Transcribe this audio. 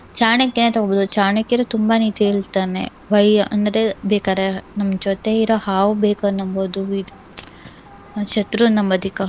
ಚಾಣಕ್ಯನ್ನೇ ತಗೊಬೋದು. ಚಾಣಕ್ಯರು ತುಂಬಾ ನೀತಿ ಹೇಳ್ತಾನೆ. why ಅಂದ್ರೆ ಬೇಕಾದ್ರೆ ನಮ್ ಜೊತೆ ಇರೋ ಹಾವ್ ಬೇಕಾದ್ರೂ ನಮ್ಬಹುದು ಇದು ಒಂದ್ ಶತ್ರುನ್ ನಂಬದಿಕ್ಕಾಗಲ್ಲ